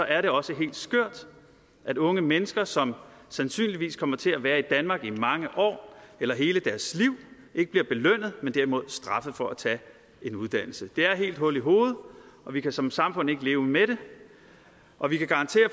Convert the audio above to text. er det også helt skørt at unge mennesker som sandsynligvis kommer til at være i danmark i mange år eller hele deres liv ikke bliver belønnet men derimod straffet for at tage en uddannelse det er helt hul i hovedet og vi kan som samfund ikke leve med det og vi kan garantere